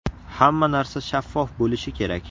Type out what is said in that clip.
Hamma narsa shaffof bo‘lishi kerak.